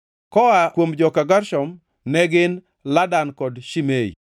Koa kuom joka Gershon, ne gin: Ladan kod Shimei.